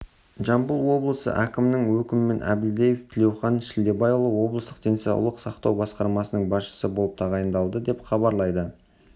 жамбыл облысы әкімінің өкімімен әбілдаев тілеухан шілдебайұлы облыстық денсаулық сақтау басқармасының басшысы болып тағайындалды деп хабарлайды